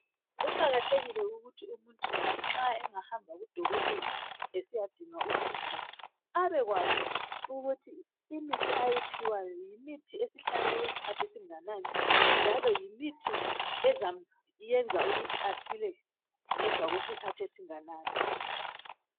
Kuqakathekile ukuthi umuntu lanxa engahamba kudokotela esiyadinga usizo abekwazi ukuthi imithi oyiphiwayo yimithi esihlale okwesikhathi esinganani njalo yimithi ezamenza ukuthi asile ngemva kwesikhathi esinganani.